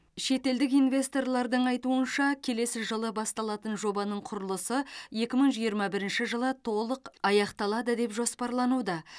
шетелдік инвесторлардың айтуынша келесі жылы басталатын жобаның құрылысы екі мың жиырма бірінші жылы толық аяқталады деп жоспарлануда